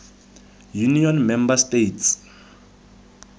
union member states